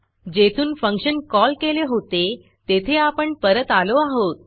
जेथून function call केले होते तेथे आपण परत आलो आहोत